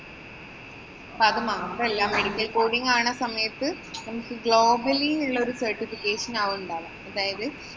അപ്പൊ അതുമാത്രമല്ല, medical coding ആവണ സമയത്ത് നമുക്ക് globally ഉള്ള certification ആവും ഉണ്ടാവുക. അതായത്,